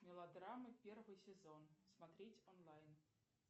мелодрамы первый сезон смотреть онлайн